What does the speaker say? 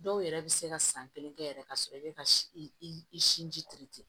Dɔw yɛrɛ bɛ se ka san kelen kɛ yɛrɛ ka sɔrɔ i bɛ ka i sinji